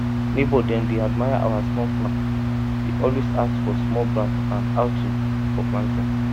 neighbour dem dey admire our small farm dey always ask for small branch and howto for planting